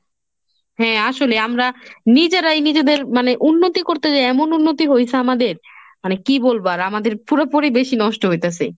হ্যাঁ আসলে আমরা নিজেরাই নিজেদের মানে উন্নতি করতে যেয়ে এমন উন্নতি হয়েছে আমাদের, মানে কি বলব আর আমাদের পুরোপুরি বেশি নষ্ট হইতাসে।